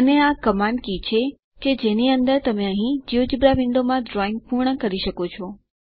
અને આ command key છે કે જેની અંદર તમે અહીં જિયોજેબ્રા વિન્ડોમાં ડ્રોઇંગ પૂર્ણ કરી શકો છો